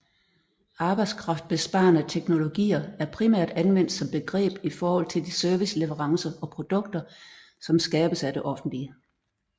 Arbejdskraftbesparende teknologier er primært anvendt som begreb i forhold til de serviceleverancer og produkter som skabes af det offentlige